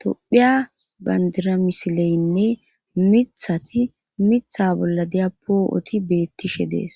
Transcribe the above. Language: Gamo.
tophiya bandira misileynne mithati mitha bolla diyapoo7oti beettishe dees.